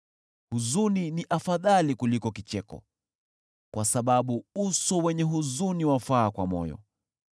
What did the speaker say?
Huzuni ni afadhali kuliko kicheko, kwa sababu uso wenye huzuni wafaa kwa moyo.